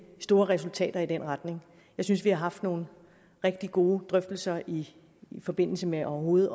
store resultater i den retning jeg synes vi har haft nogle rigtig gode drøftelser i forbindelse med overhovedet